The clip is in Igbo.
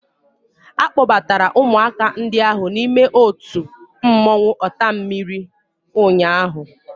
A kpọbatara ụmụaka ndị ahụ n'ime otu mmọnwụ ọtammiri ụnyaahụ